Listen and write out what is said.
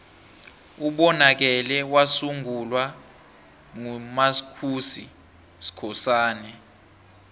ubonakele wasungulwa nqu mascusi skhosana